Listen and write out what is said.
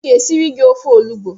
M ga-esiri gi ofe olugbo